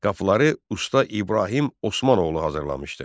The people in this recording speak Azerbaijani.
Qapıları usta İbrahim Osmanoğlu hazırlamışdı.